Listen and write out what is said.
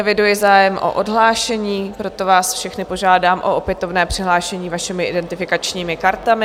Eviduji zájem o odhlášení, proto vás všechny požádám o opětovné přihlášení vašimi identifikačními kartami.